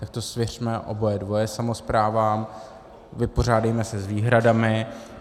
Tak to svěřme oboje dvoje samosprávám, vypořádejme se s výhradami.